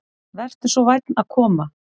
Vertu svo vænn að koma.